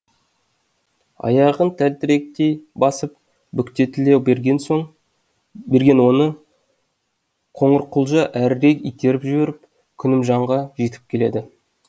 аяғын тәлтіректей басып бүктетіле берген берген оны қоңырқұлжа әрірек итеріп жіберіп күнімжанға жетіп келеді